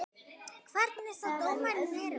Hvernig sá dómarinn þetta?